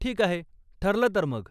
ठीक आहे, ठरलं तर मग.